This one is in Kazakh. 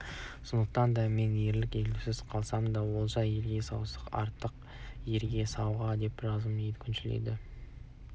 сондықтан да мен ерлік елеусіз қалмасын олжа елге сауға атақ ерге сауға деп жазып едім күншіл